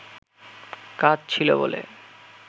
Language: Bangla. কাজ ছিল বলে